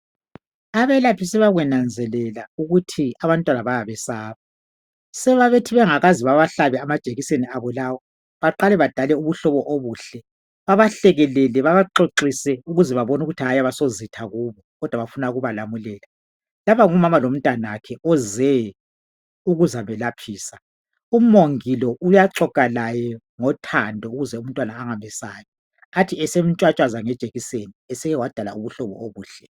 Abelaphi sebakwenanzelela ukuthi abantwana bayabesaba .So bayabathi bengakaze bebahlabe amajekiseni abo lawo baqale badale ubuhlobo obuhle Babahlekelele babaxoxise ukuze babone ukuthi hayi asozitha kubo. Kodwa bafuna ukubalamulela .Lapha ngumama lomntanakhe oze ukuzamelaphisa. Umongi lo uyaxoxa laye ngothando ukuze umntwana angamesabi . Athi esemtshwatshwaza ngejekiseni eseke wadala ubuhlobo obuhle .